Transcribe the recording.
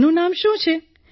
આનું નામ શું છે